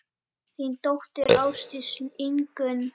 Þín dóttir, Ásdís Ingunn.